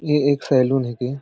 ये एक सैलून है के --